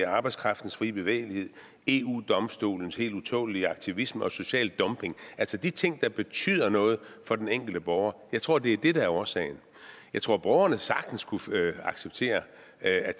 arbejdskraftens frie bevægelighed eu domstolens helt utålelige aktivisme og social dumping altså de ting der betyder noget for den enkelte borger jeg tror det er det der er årsagen jeg tror at borgerne sagtens kunne acceptere at